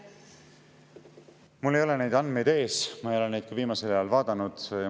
Mul ei ole neid andmeid ees ja ma ei ole neid ka viimasel ajal vaadanud.